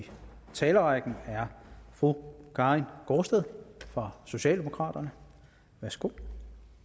talerrækken er fru karin gaardsted fra socialdemokraterne værsgo